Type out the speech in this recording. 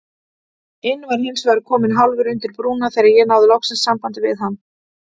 inn var hinsvegar kominn hálfur undir brúna þegar ég náði loks sambandi við hann.